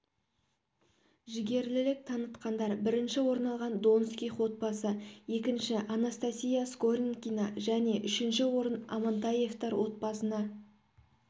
жігерлілік танытқандар бірінші орын алған донских отбасы екінші анастасия скорынкина және үшінші орын амантаевтар отбасына